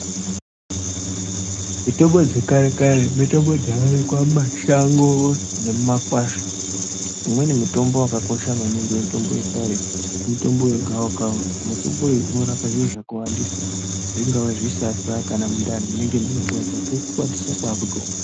Mitombo dzekare kare, mitombo dzaiwanikwa mumashango nemumakwasha. Imweni mitombo wakakosha maningi mutombo wekare mutombo wegawakawa. Mutombo uyu unorape zviro zvakawandisa zvingava zvisasa nekurwadza kwemundani wotokwatisa wotomwa.